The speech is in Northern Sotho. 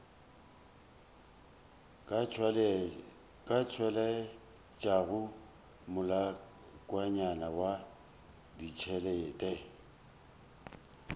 ka tšweletšago molaokakanywa wa ditšhelete